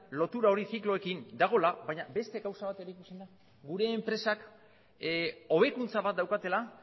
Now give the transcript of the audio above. lotura hori zikloekin dagoela baina beste gauza bat ere ikusten da gure enpresak hobekuntza bat daukatela